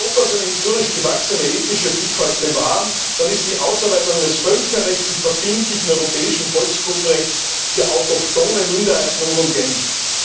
Will Europa seine historisch gewachsene ethnische Vielfalt bewahren, dann ist die Ausarbeitung eines völkerrechtlich verbindlichen europäischen Volksgruppenrechts für autochthone Minderheiten unumgänglich.